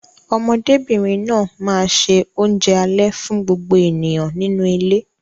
Ọmọdébìnrin náà máa ṣe oúnjẹ alẹ́ fún gbogbo ènìyàn nínú ilé.